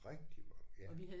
Rigtig mange ja